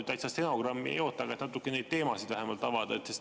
Ma täitsa stenogrammi ei oota, aga ehk natukene neid teemasid vähemalt avate.